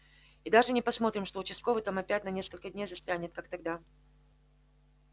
и даже не посмотрим что участковый там опять на несколько дней застрянет как тогда